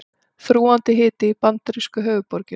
Þrúgandi hiti í bandarísku höfuðborginni